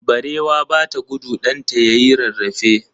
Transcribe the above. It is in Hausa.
Barewa bata gudu ɗanta yayi rarrafe.